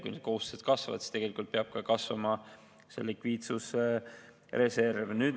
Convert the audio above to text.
Kui need kohustused kasvavad, siis peab kasvama ka likviidsusreserv.